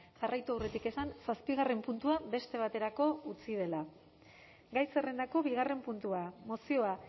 jarraitu aurretik esan zazpigarren puntua beste baterako utzi dela gai zerrendako bigarren puntua mozioa